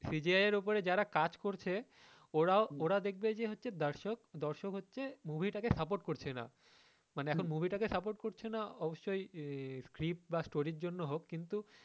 CGI এর ওপরে যার কাজ করছে ওরা ওরাও দেখবে যে দর্শক দর্শক হচ্ছে movie টা কে support করছে না অবশ্যই clip বা story র জন্য হোক।